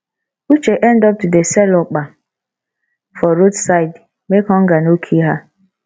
uche end up to dey sell okpa for roadside make hunger no kill her